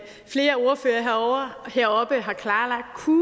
flere ordførere heroppe har klarlagt kunne